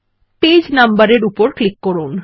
page number এর উপর click করুন